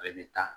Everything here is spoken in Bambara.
Ale bɛ ta